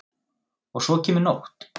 Og svo kemur nótt.